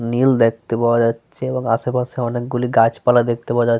নীল দেখতে পাওয়া যাচ্ছে এবং আশেপাশে অনেক গুলি গাছপালা দেখতে পাওয়া যা --